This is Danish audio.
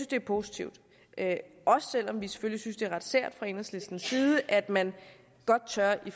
det er positivt også selv om vi selvfølgelig fra enhedslistens side at man godt tør i